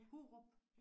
Hurup?